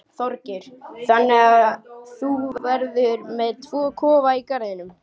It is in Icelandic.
Þorgeir: Þannig að þú verður með tvo kofa í garðinum?